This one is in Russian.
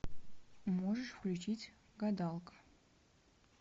можешь включить гадалка